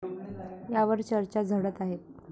यावर चर्चा झडत आहेत.